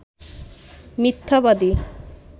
মিথ্যাবাদী